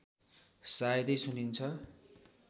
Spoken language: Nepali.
सायदै सुनिन्छ